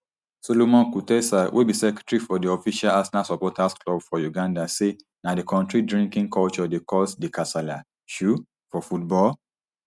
solomon kutesa wey be secretary for di official arsenal supporters club for uganda say na di kontri drinking culture dey cause di kasala um for football